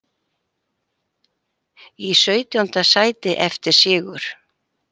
Í sautjánda sæti eftir sigur